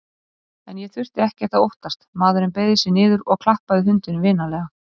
En ég þurfti ekkert að óttast, maðurinn beygði sig niður og klappaði hundinum vinalega.